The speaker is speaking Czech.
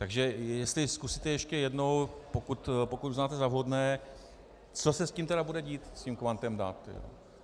Takže jestli zkusíte ještě jednou, pokud uznáte za vhodné, co se s tím tedy bude dít, s tím kvantem dat.